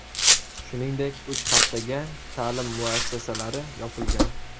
Shuningdek, uch haftaga ta’lim muassasalari yopilgan.